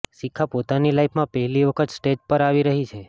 શિખા પોતાની લાઇફમાં પહેલી વખત સ્ટેજ પર આવી રહી છે